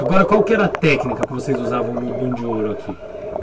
Agora, qual que era a técnica que vocês usavam no de ouro aqui?